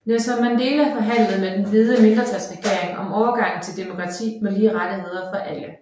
Nelson Mandela forhandlede med den hvide mindretalsregering om overgangen til demokrati med lige rettigheder for alle